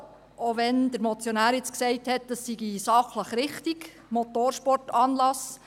Auch wenn der Motionär nun gesagt hat, das sei sachlich richtig: Motorsportanlass.